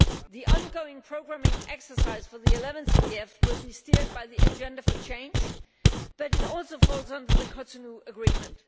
The ongoing programming exercise for the 11th EDF will be steered by the Agenda for Change, but it also falls under the Cotonou Agreement.